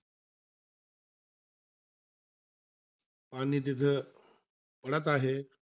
आणि तिथं, पडत आहे.